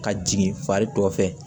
Ka jigin fari dɔ fɛ